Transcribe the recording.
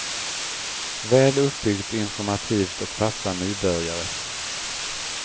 Väl uppbyggt, informativt och passar nybörjare.